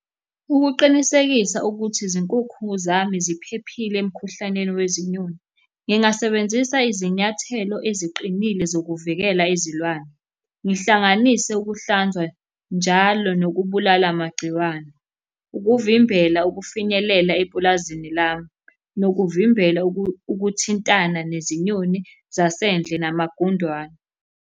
Ukuqinisekisa ukuthi izinkukhu zami ziphephile emukhuhlaneni wezinyoni, ngingasebenzisa izinyathelo eziqinile zokuvikela izilwane. Ngihlanganise ukuhlanzwa njalo nokubulala amagciwane. Ukuvimbela ukufinyelela epulazini lami, nokuvimbela ukuthintana nezinyoni zasendle namagundwane.